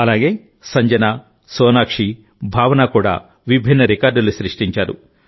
అలాగే సంజన సోనాక్షి భావన కూడా విభిన్న రికార్డులు సృష్టించారు